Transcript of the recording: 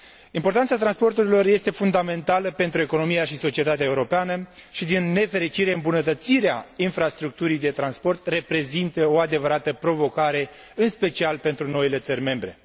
Importanța transporturilor este fundamentală pentru economia și societatea europeană și, din nefericire, îmbunătățirea infrastructurii de transport reprezintă o adevărată provocare, în special pentru noile țări membre.